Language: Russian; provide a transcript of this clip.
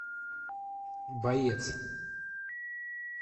боец